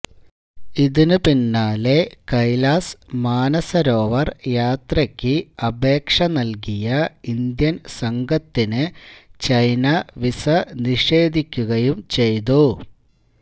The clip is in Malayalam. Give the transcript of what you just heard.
ഇതിന് പിന്നാലെ കൈലാസ് മാനസരോവർ യാത്രയ്ക്ക് അപേക്ഷ നൽകിയ ഇന്ത്യൻ സംഘത്തിനു ചൈന വീസ നിഷേധിക്കുകയു ചെയ്തു